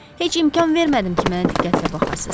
Heç imkan vermədim ki, mənə diqqətlə baxasız.